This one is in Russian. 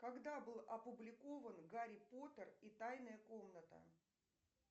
когда был опубликован гарри поттер и тайная комната